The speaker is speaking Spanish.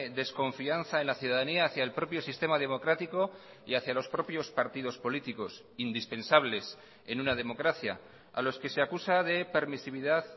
desconfianza en la ciudadanía hacia el propio sistema democrático y hacia los propios partidos políticos indispensables en una democracia a los que se acusa de permisividad